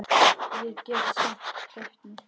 Ég get samt hreyft mig.